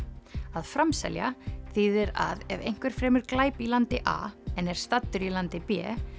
að framselja þýðir að ef einhver fremur glæp í landi a en er staddur í landi b